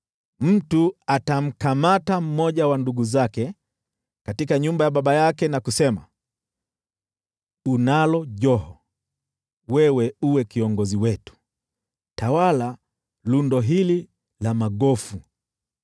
Mtu atamkamata mmoja wa ndugu zake katika nyumba ya baba yake na kusema, “Unalo joho, sasa uwe kiongozi wetu, tawala lundo hili la magofu!”